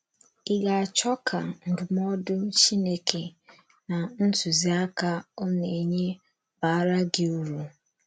Ị̀ ga - achọ ka ndụmọdụ Chineke na ntụziaka ọ na - enye baara gị uru?